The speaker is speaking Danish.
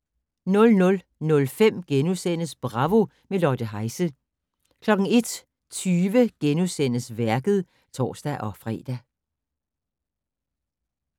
00:05: Bravo - med Lotte Heise * 01:20: Værket *(tor-fre)